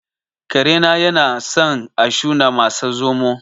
Karena yanasan a shuna masa zomo